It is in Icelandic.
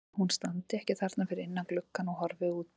Ætli hún standi ekki þarna fyrir innan gluggann og horfi út?